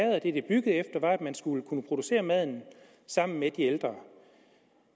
man skulle kunne producere maden sammen med de ældre